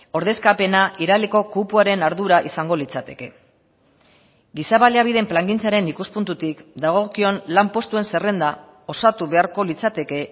ordezkapena iraleko kupoaren ardura izango litzateke giza baliabideen plangintzaren ikuspuntutik dagokion lanpostuen zerrenda osatu beharko litzateke